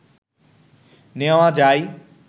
নেওয়া যায়